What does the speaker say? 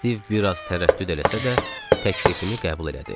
Stiv biraz tərəddüd eləsə də, təklifimi qəbul elədi.